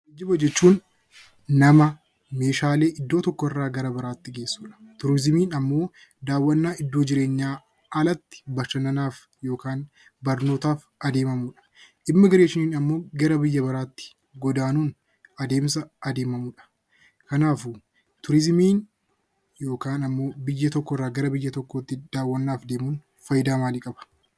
Geejjiba jechuun nama meeshaalee iddoo tokkorraa gara iddoo biraatti geessuudha. Turizimiin immoo daawwannaa iddoo jireenyaa alatti bashannanaaf barnootaaf adeemamudha. Immiigireeshiniin immoo gara biyya biraatti godaanuun adeemsa adeemamudha. Kanaafuu turizimiin biyya tokkorraa biyya tokkotti darbuun deemuun fayidaa maalii qaba?